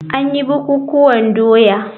An yi bukukuwan doya.